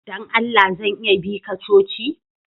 Dan Allah zan iya bi ka coci?